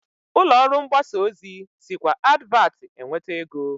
Ụlọọrụ mgbasa ozi sikwa n'advatị enweta ego